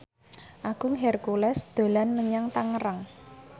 Agung Hercules dolan menyang Tangerang